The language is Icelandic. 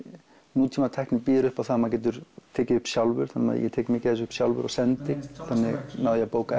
nútímatækni býður upp á það að maður getur tekið upp sjálfur þannig að ég tek mikið af þessu sjálfur og sendi þannig náði ég að bóka